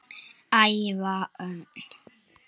Ævar Örn